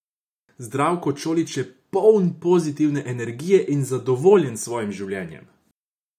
Zdravko Čolić je poln pozitivne energije in zadovoljen s svojim življenjem.